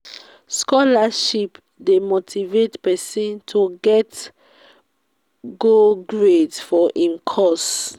scholarship de motivate persin to get go grades for im course